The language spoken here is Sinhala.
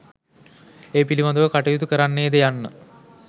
ඒ පිළිබඳව කටයුතු කරන්නේද යන්න